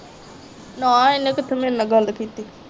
ਨਾ ਇਹਨੇ ਕਿੱਥੋਂ ਮੇਰੇ ਨਾ ਗੱਲ ਕੀਤੀ।